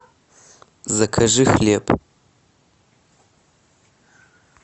закажи хлеб